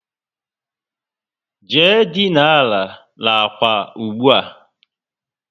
Jee dina àlà n'ákwà ụgbụa!